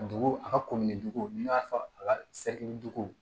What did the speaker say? Dugu a ka ko min cogo n'i y'a fɔ a ka dogow